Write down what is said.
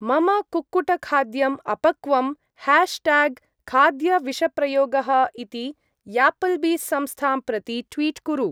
मम कुक्कुट-खाद्यम् अपक्वं, ह्याश्ट्याग्‌-खाद्य-विषप्रयोगः इति यापल्बी-संस्थां प्रति ट्वीट् कुरु।